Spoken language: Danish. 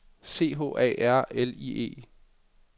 C H A R L I E